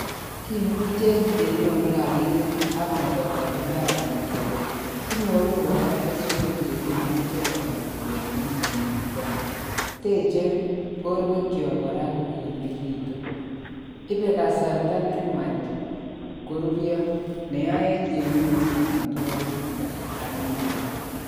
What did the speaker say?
Kimuche kenyorun rabinik ak kotoldol imbarenikyog. Kinyoru kora keswek che kimuchi karon kemin ko makial. Teche borwekyok kora kogimegitun. Ipe kasarta ne nuach koruryo neyaech kenyorun amitwogik eng kasarta ne nuach.